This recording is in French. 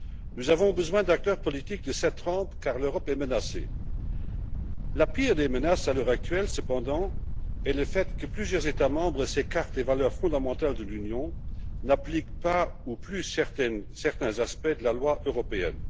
Nous avons besoin d'acteurs politiques de cette trempe car l'Europe est menacée. La pire des menaces à l'heure actuelle, cependant, est le fait que plusieurs États membres s'écartent des valeurs fondamentales de l'Union, n'appliquent pas ou plus certains aspects de la loi européenne.